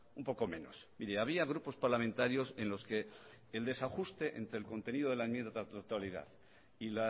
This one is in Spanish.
un poco menos y había grupos parlamentarios en los que el desajuste entre el contenido de la enmienda a la totalidad y